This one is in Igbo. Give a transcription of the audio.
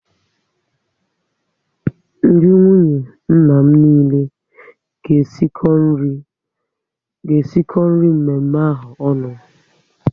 Ndị nwunye nna m niile ga esiko nri mme mme ahụ onu